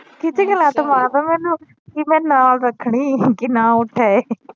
ਕਿੱਥੇ ਕਾ ਲੱਤ ਮਾਰਦਾ ਮੈਨੂੰ ਕੀ ਮੈ ਨਾਲ ਰੱਖਣੀ ਕਿ ਨਾ ਉੱਠੇ